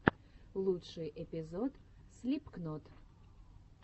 лучший эпизод слипкнот